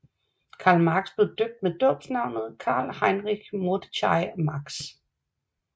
Karl Marx blev døbt med dåbsnavnet Karl Heinrich Mordechai Marx